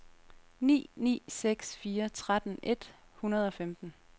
ni ni seks fire tretten et hundrede og femten